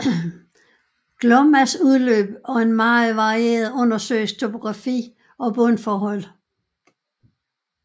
Glommas udløb og en meget varieret undersøisk topografi og bundforhold